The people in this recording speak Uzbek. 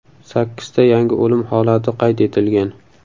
Sakkizta yangi o‘lim holati qayd etilgan.